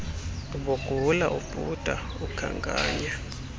ubugula ubhuda ukhankanya